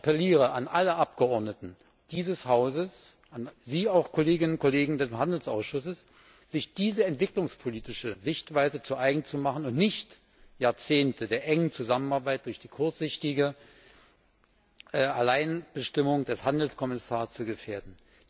Ich appelliere an alle Abgeordneten dieses Hauses, auch an die Kolleginnen und Kollegen des Handelsausschusses, sich diese entwicklungspolitische Sichtweise zu eigen zu machen und nicht Jahrzehnte der engen Zusammenarbeit durch die kurzsichtige Alleinbestimmung des Handelskommissars zu gefährden.